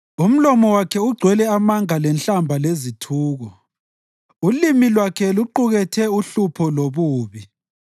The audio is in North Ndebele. Umlomo wakhe ugcwele amanga lenhlamba lezithuko; ulimi lwakhe luqukethe uhlupho lobubi.